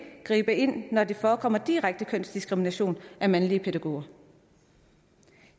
gribe ind når der forekommer direkte kønsdiskrimination af mandlige pædagoger